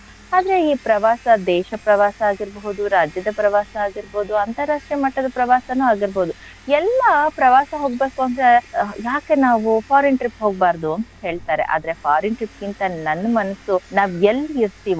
ಆದ್ರೆ ಈ ಪ್ರವಾಸ ದೇಶ ಪ್ರವಾಸ ಆಗಿರ್ಬೋದು ರಾಜ್ಯದ ಪ್ರವಾಸ ಆಗಿರ್ಬೋದು ಅಂತರಾಷ್ಟ್ರೀಯ ಮಟ್ಟದ ಪ್ರವಾಸಾನು ಆಗಿರ್ಬೋದು ಎಲ್ಲಾ ಪ್ರವಾಸ ಹೋಗ್ಬೇಕು ಅಂದ್ರೆ ಯಾಕೆ ನಾವು foreign trip ಹೋಗ್ಬಾರ್ದು ಅಂತ್ ಹೇಳ್ತಾರೆ, ಆದ್ರೆ foreign trip ಗಿಂತ ನನ್ ಮನಸ್ಸು ನಾವ್ ಎಲ್ ಇರ್ತಿವೋ,